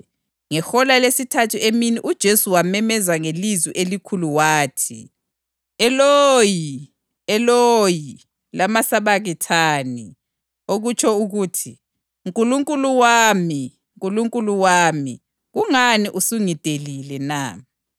Ngehola lesithathu emini uJesu wamemeza ngelizwi elikhulu wathi, \+wj “Eloyi, Eloyi, lamasabakithani?”\+wj* + 27.46 AmaHubo 22.1 (okutsho ukuthi, “Nkulunkulu wami, Nkulunkulu wami, kungani usungidelile na?”).